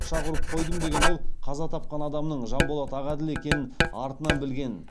пышақ ұрып қойдым деген ол қаза тапқан адамның жанболат ағаділ екенін артынан білгенін